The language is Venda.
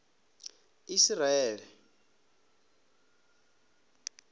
isiraele